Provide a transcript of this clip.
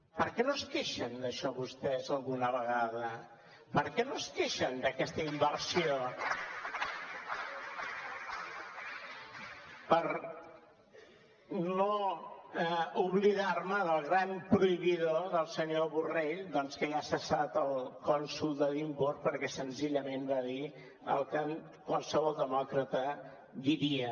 per què no es queixen d’això vostès alguna vegada per què no es queixen d’aquesta inversió per no oblidar me del gran prohibidor del senyor borrell doncs que ja ha cessat el cònsol d’edimburg perquè senzillament va dir el que qualsevol demòcrata diria